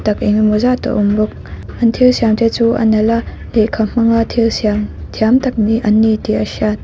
tak engemaw zat a awm bawk an thil siam te chu a nalh a lehkha hmanga thil siam thiam tak an ni tih a hriat.